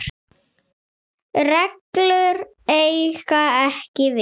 reglur eiga ekki við.